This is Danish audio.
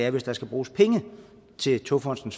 at hvis der skal bruges penge til togfonden